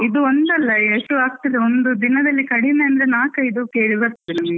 ಇದು ಒಂದಲ್ಲ ಎಷ್ಟು ಆಗ್ತಾದೆ, ಒಂದು ದಿನದಲ್ಲಿ ಕಡಿಮೆ ಅಂದ್ರೆ ನಾಕಯ್ದು ಕೇಳಿ ಬರ್ತದೆ.